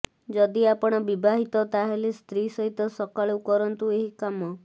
ଯଦି ଆପଣ ବିବାହିତ ତା ହେଲେ ସ୍ତ୍ରୀ ସହିତ ସକାଳୁ କରନ୍ତୁ ଏହିକାମ